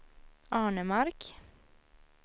Arnemark